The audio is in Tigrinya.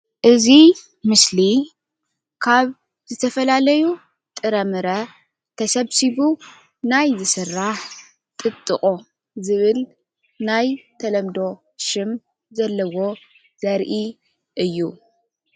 እዚ ምስሊ ካብ ዝተፈላለዩ ጥረምረ ተሰብሲቡ ናይ ዝስራሕ ጥጥቖ ዝብል ናይ ተለምዶ ሽም ዘለዎ ዘርኢ አዩ፡፡